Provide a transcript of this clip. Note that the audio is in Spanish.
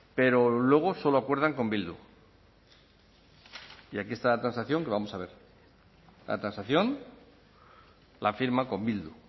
pero luego solo acuerdan con bildu y aquí está la transacción que vamos a ver la transacción la firma con bildu